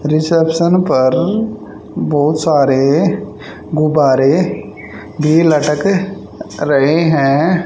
Reception पर बहोत सारे गुब्बारे भी लटक रहे हैं।